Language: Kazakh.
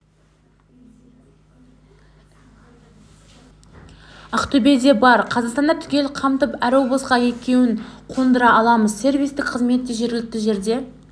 ақтөбеде бар қазақстанды түгел қамтып әр облысқа екеуін қондыра аламыз сервистік қызмет те жергілікті жерде